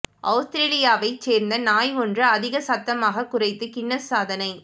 அவுஸ்திரேலியாவை சேர்ந்த நாய் ஒன்று அதிக சத்தமாக குரைத்து கின்னஸ் சாதனை